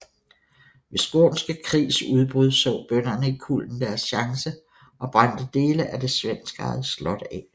Ved Skånske Krigs udbrud så bønderne i Kullen deres chance og brændte dele af det svenskejede slot af